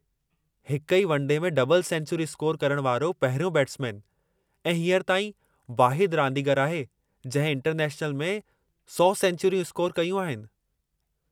हिक ई one day में डबल सेंचुरी स्कोर करण वारो पहिरियों बैट्समैन ऐं हींअर ताईं वाहिदु रांदीगरु आहे जंहिं इंटरनैशनल में 100 सेंचुरियूं स्कोर कयूं आहिनि।